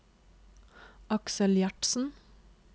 Aksel Gjertsen